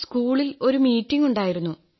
സ്കൂളിൽ ഒരു മീറ്റിംഗ് ഉണ്ടായിരുന്നു